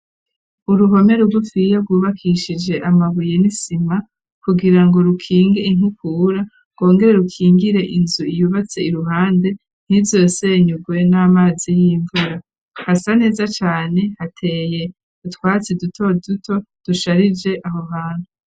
Uruhome rugufiya rwubakishije amabuye n'isima kugira ngo rukinge inkukura rwongere rukingire inzu yubatse iruhande ntizosenyugwe n'amazi y'imvura hasa neza cane hateye utwatsi duto duto dusharije aho hantu